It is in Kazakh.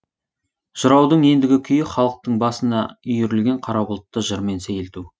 жыраудың ендігі күйі халықтың басына үйірілген қара бұлтты жырмен сейілту